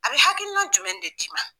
A bɛ hakilina jumɛn de d'i ma.